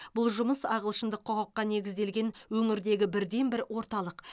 бұл жұмысы ағылшындық құқыққа негізделген өңірдегі бірден бір орталық